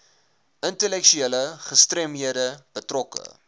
intellektuele gestremdhede betrokke